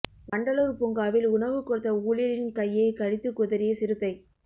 வண்டலூர் பூங்காவில் உணவு கொடுத்த ஊழியரின் கையை கடித்து குதறிய சிறுத்தை